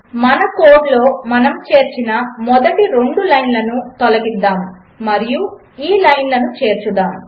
మన కోడ్లో మనము చేర్చిన మొదటి రెండు లైన్లను తొలగిద్దాము మరియు ఈ లైన్లను చేర్చుదాము